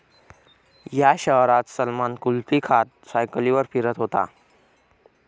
या' शहरात सलमान कुल्फी खात सायकलीवर फिरत होता!